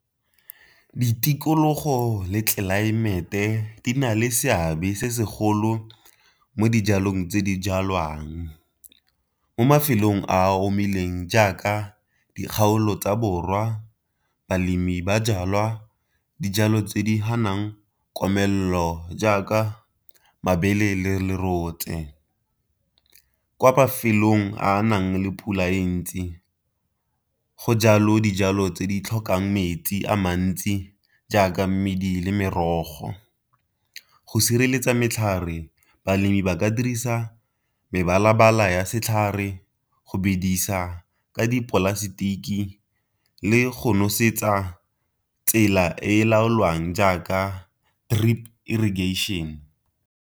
Ditikologo le tlelaemete di na le seabe se segolo mo dijalong tse di jalwang, mo mafelong a omileng jaaka dikgaolo tsa borwa balemi ba jalwa dijalo tse di komelelo jaaka mabele le lerotse. Kwa mafelong a a nang le pula e ntsi go jalo dijalo tse di tlhokang metsi a mantsi jaaka mmidi le merogo. Go sireletsa matlhare balemi ba ka dirisa mebala-bala ya setlhare, go bedisa ka dipolasetiki, le go nosetsa tsela e laolwang jaaka drip irrigation.